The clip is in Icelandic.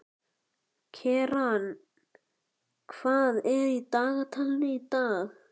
Keran, hvað er á dagatalinu í dag?